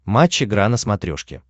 матч игра на смотрешке